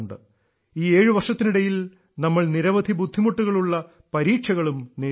ഈ ഏഴു വർഷത്തിനിടയിൽ നമ്മൾ നിരവധി ബുദ്ധിമുട്ടുള്ള പരീക്ഷകളും നേരിട്ടു